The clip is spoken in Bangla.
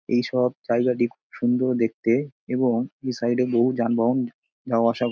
এই সব জায়গাটি খুব সুন্দর দেখতে এবং দুই সাইড -এ বহু যানবাহন যাওয়া আসা--